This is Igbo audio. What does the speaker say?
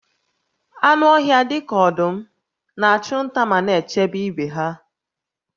Anụ ọhịa dị ka ọdụm na-achụ nta ma na-echebe ibe ha